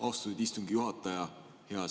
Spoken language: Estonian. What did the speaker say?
Austatud istungi juhataja!